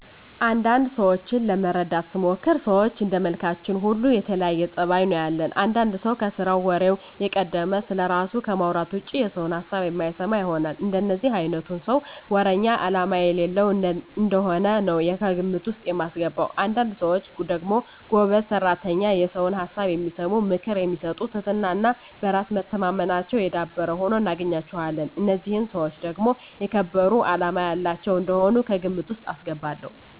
አንዳንድ ሰዎችን ለመረዳት ስሞክር ሰዎች እንደመልካችን ሁሉ የተለያየ ፀባይ ነው ያለን። አንዳንድ ሰው ከስራው ወሬው የቀደመ፣ ስለራሱ ከማውራት ውጭ የሰውን ሀሳብ የማይሰማ ይሆናል። እንደዚህ አይነቱን ሰው ወረኛ አላማ የሌለው እንደሆነ ነው ከግምት ውስጥ ማስገባው። አንዳንድ ሰዎች ደግሞ ጎበዝ ሰራተኛ፣ የሰውን ሀሳብ የሚሰሙ፣ ምክር የሚሰጡ ትህትና እና በራስ መተማመናቸው የዳበረ ሁነው እናገኛቸዋለን። እነዚህን ሰዎች ደግሞ የተከበሩ አላማ ያላቸው እንደሆኑ ከግምት ውስጥ አስገባለሁ።